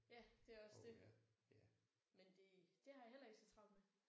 Ja det er også det. Men det det har jeg heller ikke så travlt med